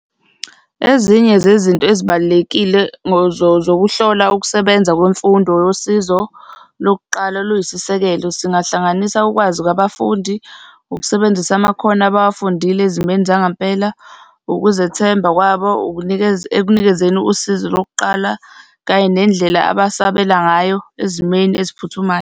Ezinye zezinto ezibalulekile zokuhlola ukusebenza kwemfundo yosizo lokuqala oluyisisekelo, singahlanganisa ukwazi kwabafundi, ukusebenzisa amakhono abawafundile ezimeni zangempela, ukuzethemba kwabo ekunikezeni usizo lokuqala, kanye nendlela abasabela ngayo ezimeni eziphuthumayo.